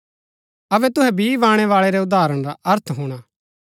अबै तुहै बी बाणैवाळै रै उदाहरण रा अर्थ हुणा